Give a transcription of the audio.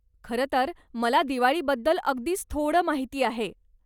खरंतर मला दिवाळीबद्दल अगदीच थोडं माहिती आहे.